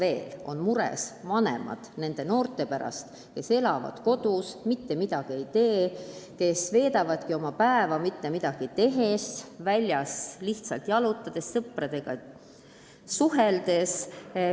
Nad on mures nende noorte pärast, kes elavad kodus, mitte midagi ei tee, veedavad oma päeva väljas lihtsalt jalutades, sõpradega suheldes.